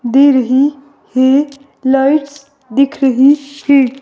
दे रही हैं लाइट्स दिख रही हैं।